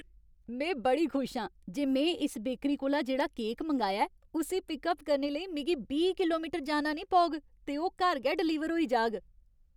में बड़ी खुश आं जे में इस बेकरी कोला जेह्ड़ा केक मंगाया ऐ, उस्सी पिक अप करने लेई मिगी बीह् किलोमीटर जाना नेईं पौग ते ओह् घर गै डलीवर होई जाग।